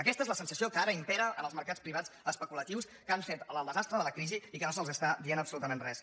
aquesta és la sensació que ara impera en els mercats privats especu·latius que han fet el desastre de la crisi i que no se’ls està dient absolutament res